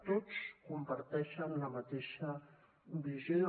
tots comparteixen la mateixa visió